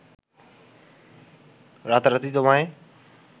রাতারাতি তোমায়